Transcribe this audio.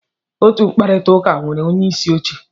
Otu mkpakọrịta nwere onyeisi oche.